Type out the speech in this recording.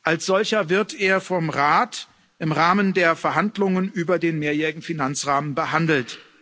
Als solcher wird er vom Rat im Rahmen der Verhandlungen über den mehrjährigen Finanzrahmen behandelt.